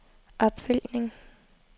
opfølgning